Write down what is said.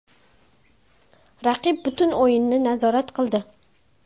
Raqib butun o‘yinni nazorat qildi.